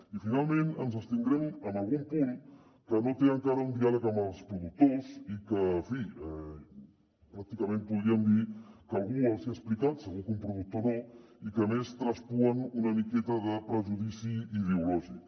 i finalment ens abstindrem en algun punt que no té encara un diàleg amb els productors i que en fi pràcticament podríem dir que algú els hi ha explicat segur que un productor no i que a més traspuen una miqueta de prejudici ideològic